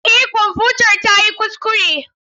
Eh kwamfutar tayi kuskure.